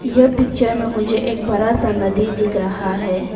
यह पिक्चर में मुझे बड़ा सा नदी दिख रहा है।